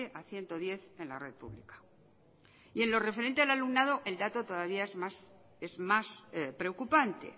a ciento diez en la red pública y en lo referente al alumnado el dato todavía es más preocupante